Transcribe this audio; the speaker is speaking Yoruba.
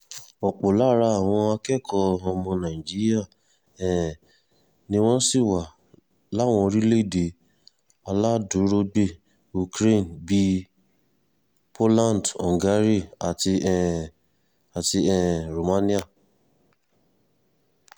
ọ̀pọ̀ lára àwọn akẹ́kọ̀ọ́ ọmọ nàìjíríà um ni wọ́n sì wà láwọn lórílẹ̀‐èdè aláàdúrógbè ukraine bíi poland hungary àti um àti um romania